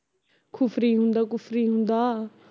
ਖੁਫਰੀ ਹੁੰਦਾ ਖੁਫ਼ਰੀ ਹੁੰਦਾ